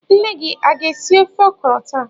Nne gi a ga-esi ofe ọkrọ taa?